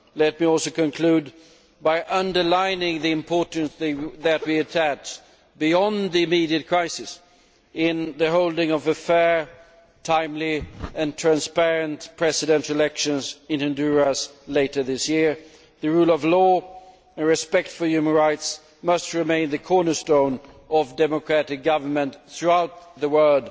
Let me conclude by underlining the importance that we attach, beyond the immediate crisis, to the holding of fair, timely and transparent presidential elections in Honduras later this year. The rule of law and respect for human rights must remain the cornerstone of democratic government throughout the world